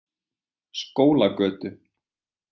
Skólagötu